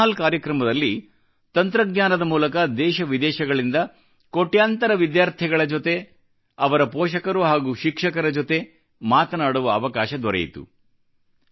ಈ town hall ಕಾರ್ಯಕ್ರಮದಲ್ಲಿ ತಂತ್ರಜ್ಞಾನದ ಮೂಲಕ ದೇಶ ವಿದೇಶಗಳಿಂದ ಕೋಟ್ಯಾಂತರ ವಿದ್ಯಾರ್ಥಿಗಳ ಜೊತೆ ಅವರ ಪೋಷಕರು ಹಾಗೂ ಶಿಕ್ಷಕರ ಜೊತೆ ಮಾತನಾಡುವ ಅವಕಾಶ ದೊರೆಯಿತು